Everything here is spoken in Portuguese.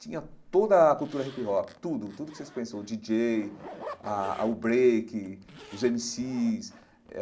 Tinha toda a cultura hip-hop, tudo tudo o que vocês pensam, o DJ, a o break, os MCs.